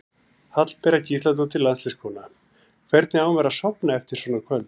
Hallbera Gísladóttir landsliðskona: Hvernig á maður að sofna eftir svona kvöld?